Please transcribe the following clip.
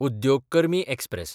उद्योग कर्मी एक्सप्रॅस